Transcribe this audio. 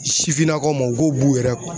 Sifinnakaw ma n k'o b'u yɛrɛ